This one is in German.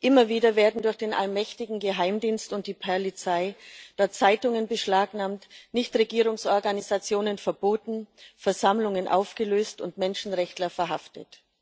Immer wieder werden durch den allmächtigen Geheimdienst und die Polizei Zeitungen beschlagnahmt, Nichtregierungsorganisationen verboten, Versammlungen aufgelöst und Menschenrechtler verhaftet.